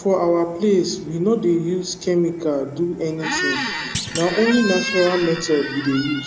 for our place we no dey use chemical do anything na only natural method we dey use